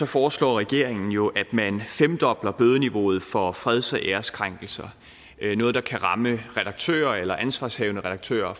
foreslår regeringen jo at man femdobler bødeniveauet for freds og æreskrænkelser noget der kan ramme redaktører eller ansvarshavende redaktører